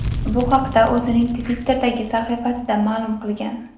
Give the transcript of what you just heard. Bu haqda o‘zining Twitter’dagi sahifasida ma’lum qilgan.